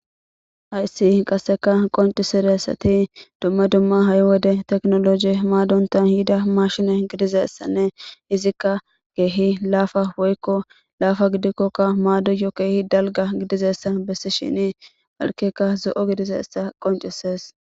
Hayssi qasseka qoncisiressati dumma dumma ha7i wode teknoloje maadontan yida mashine gidizeessanne hizikka keehi laafa woykko laafa gidikkokka maadoyo keehi dalga gidizessa bessi shini alkeka zo7o gidizeessa qoncisees